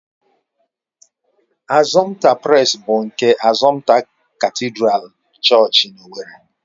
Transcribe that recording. Assumpta Press bụ nke Assumpta katịdral Chọọchị na owerri.